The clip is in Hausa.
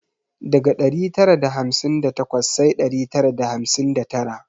Daga dari tara da hamsin da takwas sai dari tara da hamsin da tara